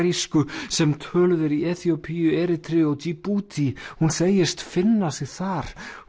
afarísku sem töluð er í Eþíópíu Erítreu og Djíbútí hún segist finna sig þar